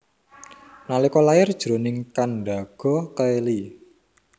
Nalika lair jroning kandaga kèli